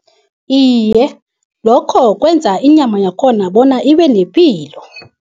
Iye, lokho kwenza inyama yakhona bona ibe nepilo.